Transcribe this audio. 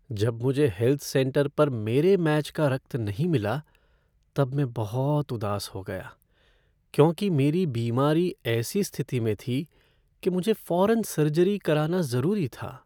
जब मुझे health centre पर मेरे मैच का रक्त नहीं मिला तब मैं बहुत उदास हो गया, क्योंकि मेरी बीमारी ऐसी स्थिति में थी कि मुझे फ़ौरन सर्जरी कराना ज़रूरी था।